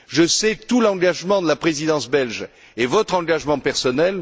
Je sais tout l'engagement de la Présidence belge et votre engagement personnel.